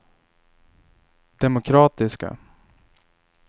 demokratiska